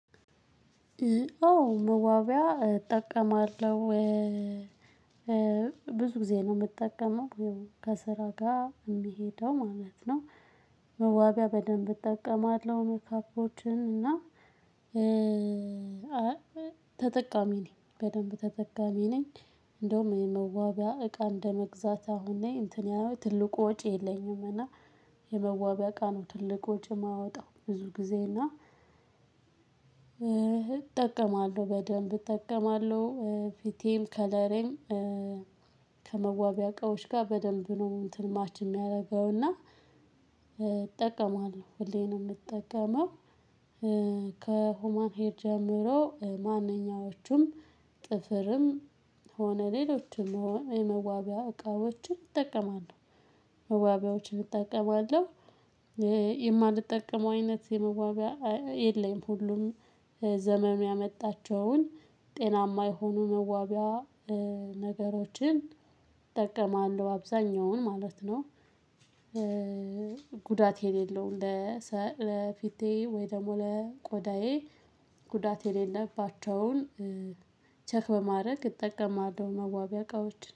አዎ መዋቢያ እጠቀማለሁ ብዙ ጊዜ ነው የምጠቀመው ከስራ ጋር የሚሄደው ማለት ነው። መዋቢያ በደንብ እጠቀማለሁ መኳኳሎችን እና ተጠቃሚ ነኝ በደንብ ተጠቃሚ ነኝ። እንደውም የመዋቢያ እቃ እንደመግዛት አሁን ላይ እንትን ያህል ትልቁ ወጪ የለኝም። እና የመዋቢያ እቃ ነው ትልቅ ወጪ የማወጣው ብዙ ጊዜ እና እጠቀማለሁ በደንብ እጠቀማለሁ። ፊቴም ከለሬም ከመዋቢያ እቃዎች ጋር በደንብ ነው እንትን ማች የሚያደርገውና። እጠቀማለሁ ሁሌ ነው የምጠቀመው። ከሁማን ሄር ጀምሮ ማንኛዎቹም ጥፍርም ሆነ ሌሎችም የመዋቢያ እቃዎችን እጠቀማለሁ። መዋቢያዎችን እጠቀማለሁ። የማልጠቀመው አይነት የመዋቢያ የለኝም። ሁሉም ዘመን ያመጣቸውን ጤናማ የሆኑ መዋቢያ ነገሮችን እጠቀማለሁ አብዛኛውን ማለት ነው። ጉዳት የሌለው እንደ ሰ ለፊቴ ወይ ደግሞ ለቆዳዬ ጉዳት የሌለባቸውን ቸክ በማድረግ ይጠቀማለው መዋቢያ እቃዎች